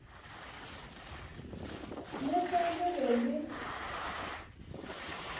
le ge le be le